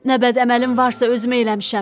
Nə bəd əməlim varsa, özüm eləmişəm.